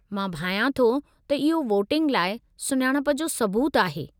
मां भायां थो त इहो वोटिंग लाइ सुञाणप जो सबूतु आहे।